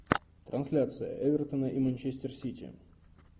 трансляция эвертона и манчестер сити